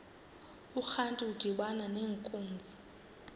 urantu udibana nenkunzi